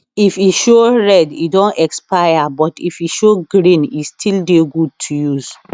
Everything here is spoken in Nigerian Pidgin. if e show red e don expire but if e show green e still dey good to use